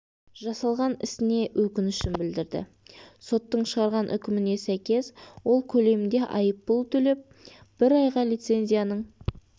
жасалған ісіне өкінішін білдірді соттың шығарған үкіміне сәйкес ол көлемінде айыппұл төлеп бір айға лицензияның